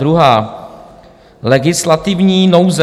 Druhá: legislativní nouze.